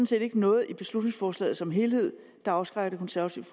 set ikke noget i beslutningsforslaget som helhed der afskrækker det konservative